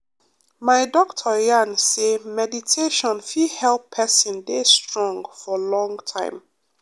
my doctor yarn say meditation fit help person deh strong for long time.